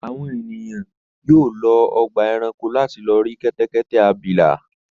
Àwọn ènìyàn yóò lọ ọgbà-ẹranko láti lọ rí kẹ́tẹ́kẹ́tẹ́ abilà.